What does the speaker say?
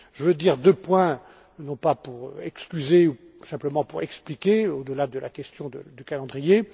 Je veux évoquer deux points, non pas pour excuser, mais simplement pour expliquer, au delà de la question du calendrier.